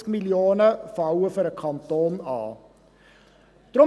50 Mio. Franken fallen für den Kanton an.